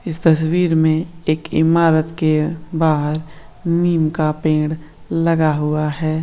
इस तस्वीर में एक इमारत के बाहर नीम का पेड़ लगा हुआ है।